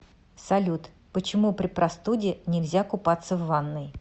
салют почему при простуде нельзя купаться в ванной